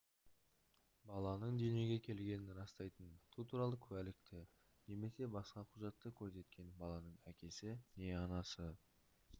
баланың дүниеге келгенін растайтын туу туралы куәлікті немесе басқа құжатты көрсеткен баланың әкесі не анасы